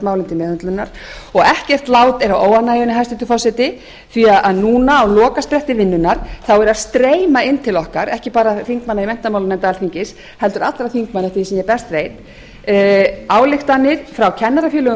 til meðhöndlunar og ekkert lát er á óánægjunni hæstvirtur forseti því að núna á lokaspretti vinnunnar eru að streyma inn til okkar ekki bara þingmanna í menntamálanefnd alþingis heldur allra þingmanna eftir því sem ég best veit ályktanir frá kennarafélögum